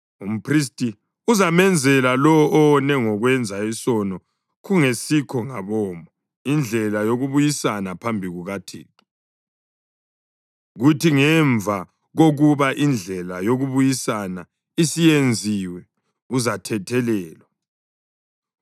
Umphristi uzamenzela lowo owone ngokwenza isono kungesikho ngabomo indlela yokubuyisana phambi kukaThixo, kuthi ngemva kokuba indlela yokubuyisana isiyenziwe, uzathethelelwa.